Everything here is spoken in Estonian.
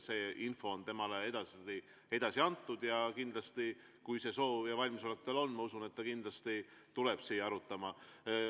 See info on temale edasi antud ja kindlasti, kui see soov ja valmisolek tal on, ma usun, et ta kindlasti tuleb siia arutama.